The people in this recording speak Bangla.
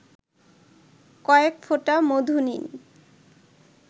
কয়েক ফোঁটা মধু নিন